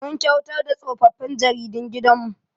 Mun kyautar da tsofaffin jaridun gidan mu